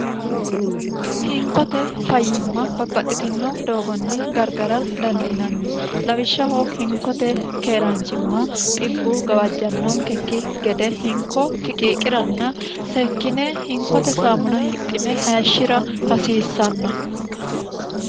hinkote fayyimma babbaxxitino doogonni gargara dandiinanni lawishshaho hinkote keeraanjimma xibbu gawajjannoonkekki gede hinko fiqiiqiranna sekkine hinkote saamuna hidhine hayishshira hasiissanno